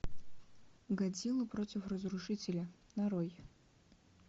годзилла против разрушителя нарой